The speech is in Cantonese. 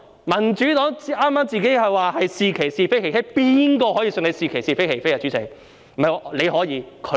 民主黨剛才說自己"是其是，非其非"，誰會相信他們"是其是，非其非"，主席嗎？